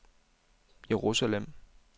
Jerusalem